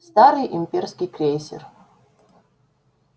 старый имперский крейсер